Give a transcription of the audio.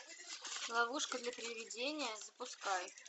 ловушка для привидения запускай